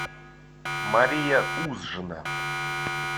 мария узжина